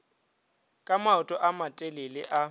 ka maoto a matelele a